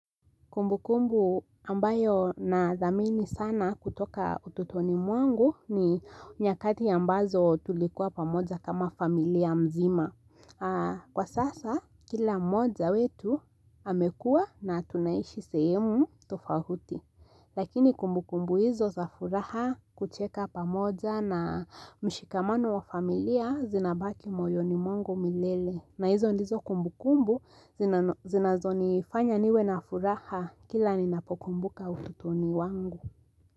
Kumbukumbu ambayo na dhamini sana kutoka ututoni mwangu ni nyakati ambazo tulikuwa pamoja kama familia mzima. Aa Kwa sasa, kila mmoja wetu amekua na tunaishi sehemu tofahuti. Lakini kumbukumbu hizo za furaha, kucheka pamoja na mshikamano wa familia zinabaki moyoni mwangu milele. Na hizo ndizo kumbukumbu zinano, zinazonifanya niwe na furaha kila ninapokumbuka ututoni wangu.